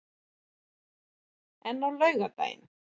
en á laugardaginn